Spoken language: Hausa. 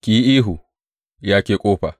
Ki yi ihu, ya ke ƙofa!